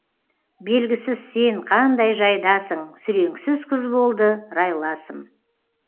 белгісіз сен қандай жайдасың сүреңсіз күз болды райласым